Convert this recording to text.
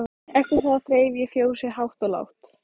Eftir það þreif ég fjósið hátt og lágt.